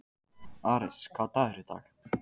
Ares, hvaða dagur er í dag?